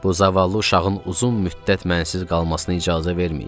Bu zavallı uşağın uzun müddət mənsiz qalmasına icazə verməyin.